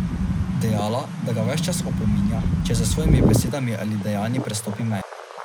Dejala, da ga ves čas opominja, če z svojimi besedami ali dejanji prestopi mejo.